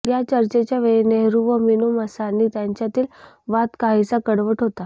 या चर्चेच्या वेळी नेहरू व मिनू मसानी यांच्यातील वाद काहीसा कडवट होता